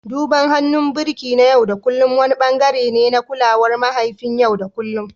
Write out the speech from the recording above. Duban hannun birki na yau da kullun wani ɓangare ne na kulawar mahayin yau da kullun